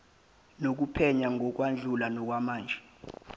nokuphenya ngosekwedlule nokwamanje